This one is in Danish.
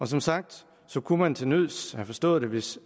som sagt kunne man til nød have forstået det hvis